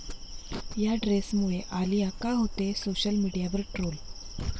या ड्रेसमुळे आलिया का होतेय सोशल मीडियावर ट्रोल?